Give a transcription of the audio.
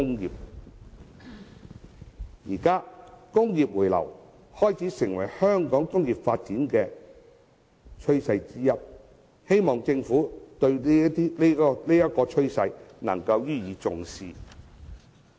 現時工業回流，開始成為香港工業發展的趨勢之一，希望政府對這趨勢能予以重視。